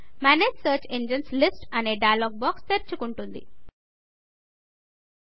manage search engines listమేనేజ్ search engines list అనే dialogue box తెరుచుకుంటుంది